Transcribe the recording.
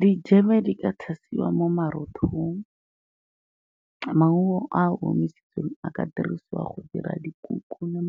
Dijeme di ka tshasiwa mo marothong, maungo a a omisitsweng a ka dirisiwa go dira dikuku le .